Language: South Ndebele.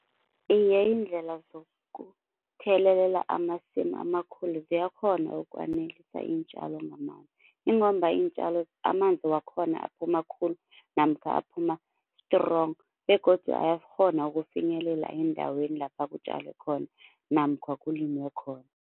Iye iindlela zokuthelelela amasimu amakhulu ziyakghona ukwanelisa iintjalo ngamanzi, ingomba iintjalo amanzi wakhona aphuma khulu namkha aphuma-strong begodu ayakghona ukufinyelela endaweni lapha kutjalwe khona namkha kulimiwe khona.